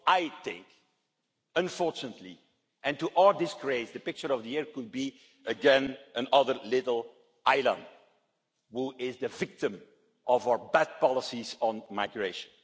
I think, unfortunately, and to our disgrace, the picture of the year could be again another little Alan who is the victim of our bad policies on migration.